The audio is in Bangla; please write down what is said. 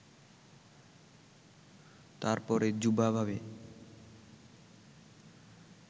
তারপরে যুবা ভাবে